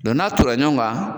n'a tonna ɲɔgɔn kan